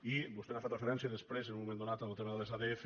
i vostè ha fet referència després en un moment do·nat al tema de les adf